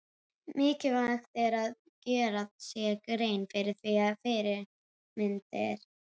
Mikilvægt er að gera sér grein fyrir því að fyrirmyndir